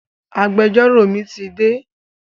Agbẹjọ́rò mi ti dé